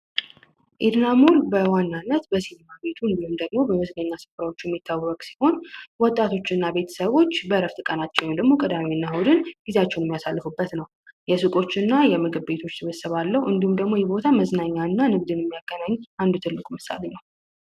ኤድና ሞል በዋናነት በሲኒማ ቤቱ እንዲሁም ደግሞ በቢዝነስ ስራዎች የሚታወቅ ሲሆን፤ ወጣቶችና ቤተሰቦች በእረፍት ቀናቸው ወይም ደግሞ ቀዳሚና እሁድን ጊዜያቸውን የሚያሳልፉበት ነው። የሱቆች እና የምግብ ቤቶች ስብስብ አለው። እንዲሁም ደግሞ የቦታ መዝናኛ እና ንግድ የሚያገናኝ አንዱ ትልቅ ምሳሌ ነው።